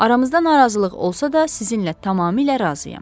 Aramızda narazılıq olsa da, sizinlə tamamilə razıyam.